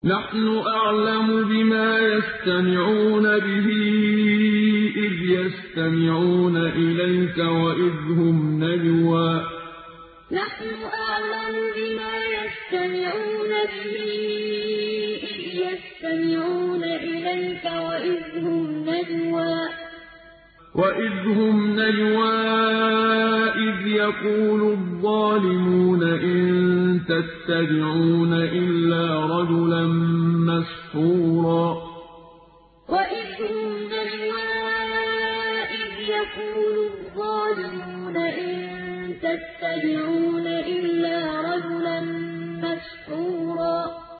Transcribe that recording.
نَّحْنُ أَعْلَمُ بِمَا يَسْتَمِعُونَ بِهِ إِذْ يَسْتَمِعُونَ إِلَيْكَ وَإِذْ هُمْ نَجْوَىٰ إِذْ يَقُولُ الظَّالِمُونَ إِن تَتَّبِعُونَ إِلَّا رَجُلًا مَّسْحُورًا نَّحْنُ أَعْلَمُ بِمَا يَسْتَمِعُونَ بِهِ إِذْ يَسْتَمِعُونَ إِلَيْكَ وَإِذْ هُمْ نَجْوَىٰ إِذْ يَقُولُ الظَّالِمُونَ إِن تَتَّبِعُونَ إِلَّا رَجُلًا مَّسْحُورًا